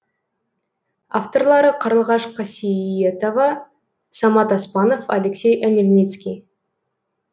авторлары қарлығаш қасиетова самат оспанов алексей омельницкий